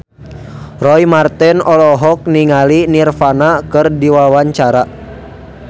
Roy Marten olohok ningali Nirvana keur diwawancara